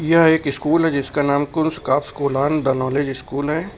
यह एक स्कूल है जिसका नाम द नॉलेज स्कूल है।